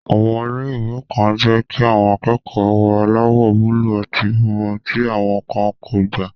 Àwọn ilé-ìwé kan jẹ́ kí àwọn akẹ́kọ̀ọ́ wọ aláwọ̀ búúlù àti funfun, tí àwọn kan kò gbà